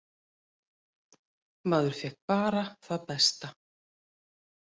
Maður fékk bara það besta.